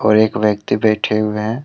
और एक व्यक्ति बैठे हुए हैं।